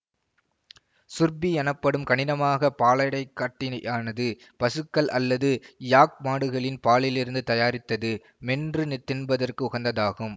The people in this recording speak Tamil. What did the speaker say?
சுர்பீ எனப்படும் கனிடமாக பாலடைக்கட்டினியானது பசுக்கள் அல்லது யாக் மாடுகளின் பாலிலிருந்து தயாரித்தது மென்று நிதின்பதற்கு உகந்ததாகும்